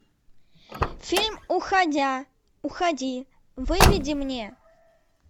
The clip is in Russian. фильм уходя уходи выведи мне